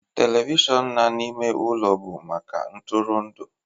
telivishọn na n'ime ụlọ bụ maka ntụrụndụ